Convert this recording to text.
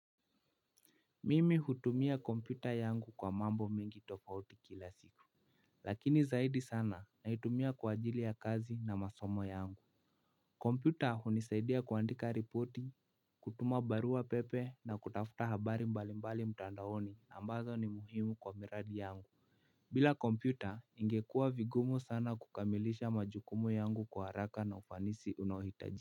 Mimi hutumia kompyuta yangu kwa mambo mingi tofauti kila siku. Lakini zaidi sana na itumia kwa ajili ya kazi na masomo yangu. Kompyuta hunisaidia kuandika ripoti, kutuma barua pepe na kutafuta habari mbali mbali mutandaoni ambazo ni muhimu kwa miradi yangu. Bila kompyuta, ingekua vigumu sana kukamilisha majukumu yangu kwa haraka na ufanisi unahitajika.